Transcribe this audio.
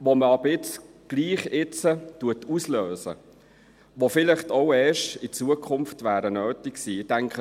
Man löst sie aber jetzt trotzdem aus, obwohl sie vielleicht erst in Zukunft nötig gewesen wären.